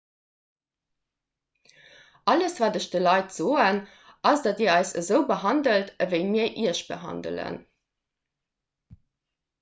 alles wat ech de leit soen ass datt dir eis esou behandelt ewéi mir iech behandelen